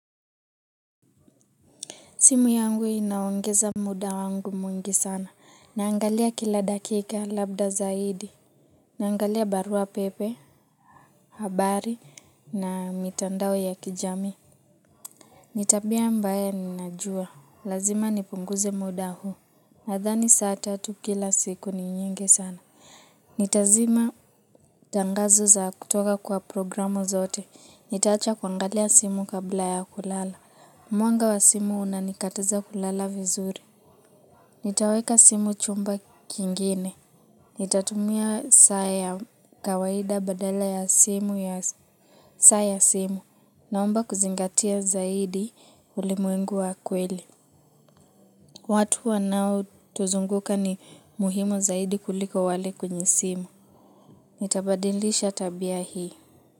Simu yangu inaongeza muda wangu mwingi sana. Naangalia kila dakika labda zaidi. Naangalia barua pepe habari na mitandao ya kijamii. Ni tabia ambaye ninajua. Lazima nipunguze muda huu. Nadhani saa tatu kila siku ni nyingi sana. Nitazima tangazo za kutoka kwa programu zote. Nitaacha kuangalia simu kabla ya kulala. Mwanga wa simu unanikataza kulala vizuri. Nitaweka simu chumba kingine. Nitatumia saa ya kawaida badala ya saa ya simu. Naomba kuzingatia zaidi ulimwengu wa kweli. Watu wanaotuzunguka ni muhimu zaidi kuliko wale kwenye simu. Nitabadilisha tabia hii.